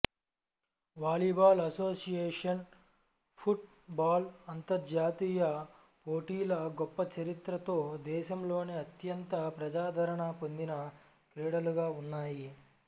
volleyball association football అంతర్జాతీయ పోటీల గొప్ప చరిత్రతో దేశంలోని అత్యంత ప్రజాదరణ పొందిన క్రీడలుగా ఉన్నాయి